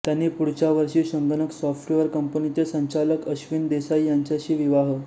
त्यांनी पुढच्या वर्षी संगणक सॉफ्टवेअर कंपनीचे संचालक एश्विन देसाई यांच्याशी विवाह